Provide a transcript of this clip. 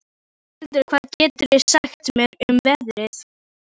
Pálhildur, hvað geturðu sagt mér um veðrið?